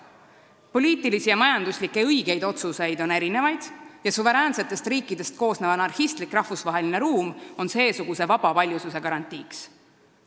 Õigeid poliitilisi ja majanduslikke otsuseid on mitmesuguseid ja suveräänsetest riikidest koosnev anarhistlik rahvusvaheline ruum on seesuguse paljususe garantiiks.